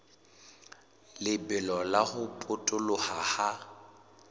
lebelo la ho potoloha ha